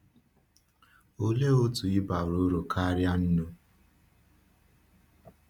Òlee otú ị bara uru karịa nnụnụ?